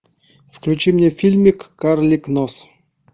включи мне фильмик карлик нос